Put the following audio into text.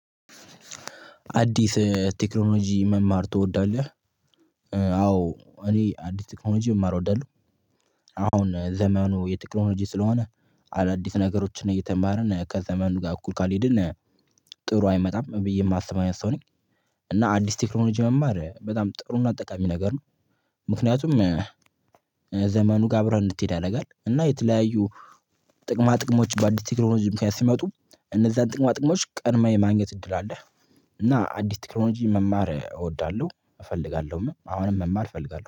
አዲስ ቴክኖሎጂ መማር ትወዳለህ አዎ እኔ አዲስ ቴክኖሎጂ መማር እወዳለሁ፤ አሁን ዘመኑ የቴክኖሎጂ ስለሆነ አዳዲስ ነገሮችን እየተማርን ከዘመኑ ጋር እኩል ካልሄድን ጥሩ አይመጣም ብዬ የማስበው አይነት ሰው ነኝ፤ እና አዲስ ቴክኖሎጂ መማር በጣም ጥሩና ጠቃሚ ነገር ነው ምክንያቱም ከዘመኑ ጋር አብረህ እንድትሄድ ያደርጋል፤ እና የተለያዩ ጥቅማ ጥቅሞች በአዲስ ቴክኖሎጂ ምክንያት ሲመጡ እኔዚያን ጥቅማ ጥቅሞች ቀድሞ የማግኘት እድል አለ። እና አዲስ ቴክኖሎጂ መማር እወዳለሁ፤ እፈልጋለሁም አሁንም መማር እፈልጋለሁ።